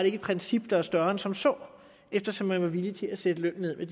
ikke et princip der er større end som så eftersom man var villig til at sætte lønnen ned med